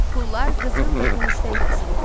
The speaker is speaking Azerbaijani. Pullar qızıl və gümüşdən kəsilirdi.